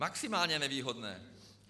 Maximálně nevýhodné.